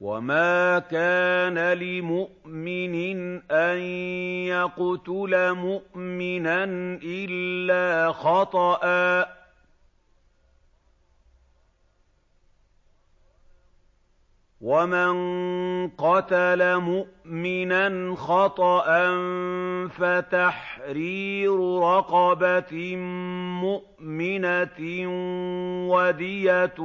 وَمَا كَانَ لِمُؤْمِنٍ أَن يَقْتُلَ مُؤْمِنًا إِلَّا خَطَأً ۚ وَمَن قَتَلَ مُؤْمِنًا خَطَأً فَتَحْرِيرُ رَقَبَةٍ مُّؤْمِنَةٍ وَدِيَةٌ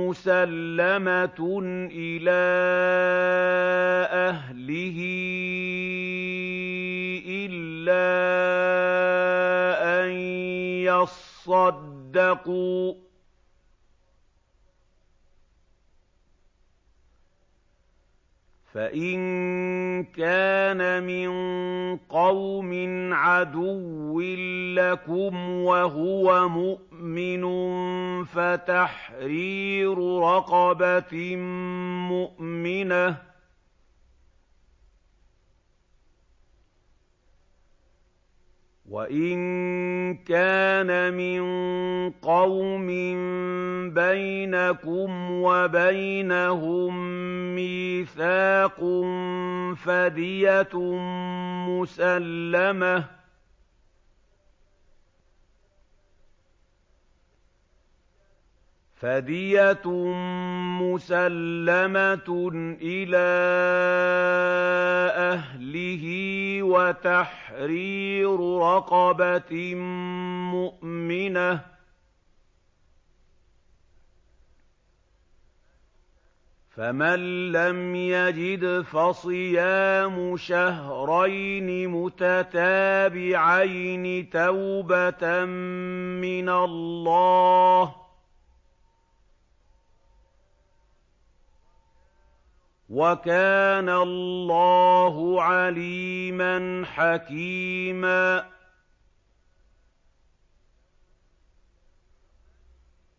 مُّسَلَّمَةٌ إِلَىٰ أَهْلِهِ إِلَّا أَن يَصَّدَّقُوا ۚ فَإِن كَانَ مِن قَوْمٍ عَدُوٍّ لَّكُمْ وَهُوَ مُؤْمِنٌ فَتَحْرِيرُ رَقَبَةٍ مُّؤْمِنَةٍ ۖ وَإِن كَانَ مِن قَوْمٍ بَيْنَكُمْ وَبَيْنَهُم مِّيثَاقٌ فَدِيَةٌ مُّسَلَّمَةٌ إِلَىٰ أَهْلِهِ وَتَحْرِيرُ رَقَبَةٍ مُّؤْمِنَةٍ ۖ فَمَن لَّمْ يَجِدْ فَصِيَامُ شَهْرَيْنِ مُتَتَابِعَيْنِ تَوْبَةً مِّنَ اللَّهِ ۗ وَكَانَ اللَّهُ عَلِيمًا حَكِيمًا